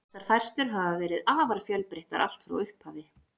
Þessar færslur hafa verið afar fjölbreyttar allt frá upphafi.